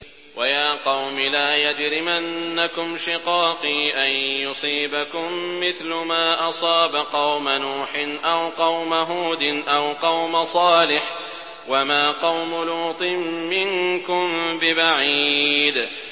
وَيَا قَوْمِ لَا يَجْرِمَنَّكُمْ شِقَاقِي أَن يُصِيبَكُم مِّثْلُ مَا أَصَابَ قَوْمَ نُوحٍ أَوْ قَوْمَ هُودٍ أَوْ قَوْمَ صَالِحٍ ۚ وَمَا قَوْمُ لُوطٍ مِّنكُم بِبَعِيدٍ